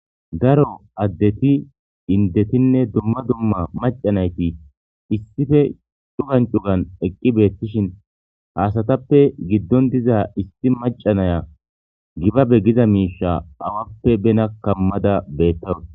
Daro addeti indetinne dumma dumma macanayti issife chugan cugan eqqi beettishin haasatappe giddon diza issi macanaya gibabe giza miisha awappe bena kammada beettawus.